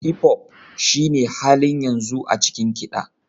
Hipop shine halin yanzu a cikin kiɗa.